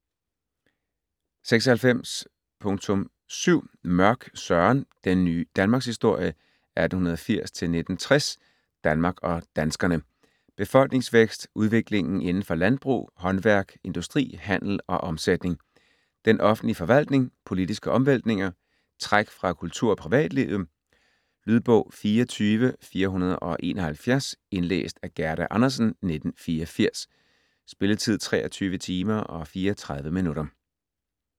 96.7 Mørch, Søren: Den ny Danmarkshistorie 1880-1960 Danmark og danskerne. Befolkningsvækst. Udviklingen inden for landbrug, håndværk, industri, handel og omsætning. Den offentlige forvaltning. Politiske omvæltninger. Træk fra kultur- og privatlivet. Lydbog 24471 Indlæst af Gerda Andersen, 1984. Spilletid: 23 timer, 34 minutter.